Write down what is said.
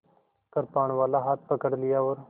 कृपाणवाला हाथ पकड़ लिया और